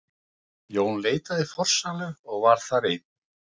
Jón leitaði í forsælu og var þar einn.